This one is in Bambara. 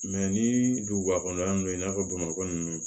ni duguba kɔnɔna na i n'a fɔ bamakɔ ninnu